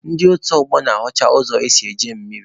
Ndị otu ọgbọ na-asụcha ụzọ esi eje mmiri.